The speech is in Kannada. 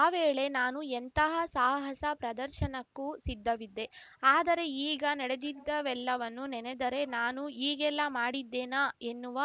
ಆ ವೇಳೆ ನಾನು ಎಂತಹ ಸಾಹಸ ಪ್ರದರ್ಶನಕ್ಕೂ ಸಿದ್ಧವಿದ್ದೆ ಆದರೆ ಈಗ ನಡೆದಿದ್ದವೆಲ್ಲವನ್ನೂ ನೆನೆದರೆ ನಾನು ಹೀಗೆಲ್ಲಾ ಮಾಡಿದ್ದೆನಾ ಎನ್ನುವ